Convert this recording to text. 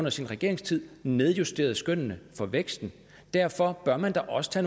i sin regeringstid nedjusteret skønnene for væksten derfor bør man da også